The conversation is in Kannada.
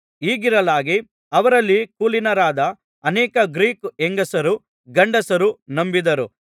ಹೀಗಿರಲಾಗಿ ಅವರಲ್ಲಿ ಕುಲೀನರಾದ ಅನೇಕ ಗ್ರೀಕ್ ಹೆಂಗಸರು ಗಂಡಸರು ನಂಬಿದರು